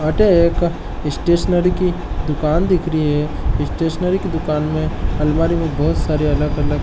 अठे एक स्टेशनरी की दुकान दिख रही है स्टेशनरी की दुकान में अलमारी में बहोत सारे अलग अलग --